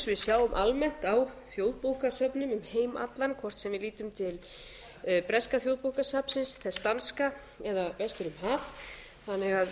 við sjáum almennt á þjóðbókasöfnum um heim allan hvort sem við lítum til breska þjóðbókasafnsins þess danska eða vestur um haf þannig að